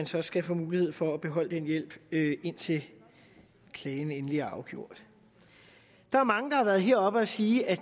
så skal have mulighed for at beholde den hjælp indtil klagen er endeligt afgjort der er mange der har været heroppe og sige at